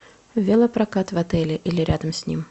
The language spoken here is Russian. велопрокат в отеле или рядом с ним